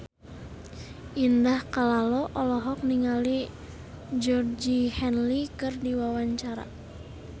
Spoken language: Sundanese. Indah Kalalo olohok ningali Georgie Henley keur diwawancara